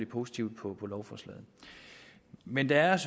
positivt på lovforslaget men der er